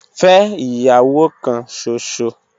Fe iyawo kan ṣoṣo.